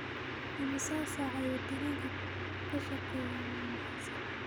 Imisa saac ayuu tareenku ka shaqeeyaa mombasa?